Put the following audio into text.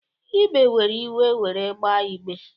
Ibe were iwe were gbaa igbe